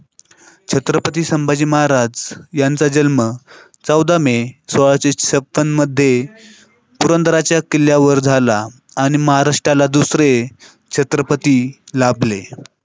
छत्रपती संभाजी महाराज यांचा जन्म मे मध्ये पुरंदराच्या किल्ल्यावर झाला आणि महाराष्ट्राला दुसरे छत्रपती लाभले.